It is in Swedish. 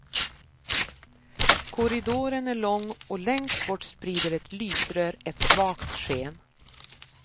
Korridoren är lång och längst bort sprider ett lysrör ett svagt sken.